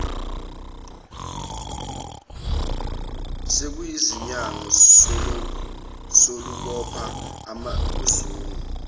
sekuyizinyanga salubopha uzungu